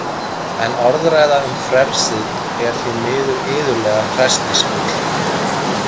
En orðræða um frelsið er því miður iðulega hræsnisfull.